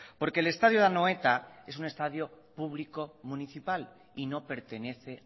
porque el estadio de anoeta es un estadio público municipal y no pertenece